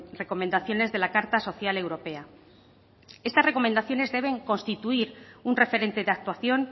recomendaciones de la carta social europea estas recomendaciones deben constituir un referente de actuación